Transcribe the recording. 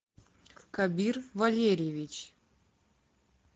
кабир валерьевич